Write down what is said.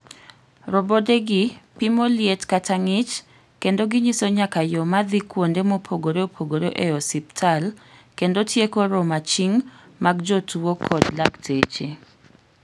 Robodegi pimo liet kata ng'ich kendo ginyiso nyaka yoo madhi kuonde mopogre opogre ei osibtal, kendo tieko romo aching' mag jotuo kod lakteche.